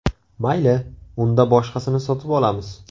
Mayli, unda boshqasini sotib olamiz.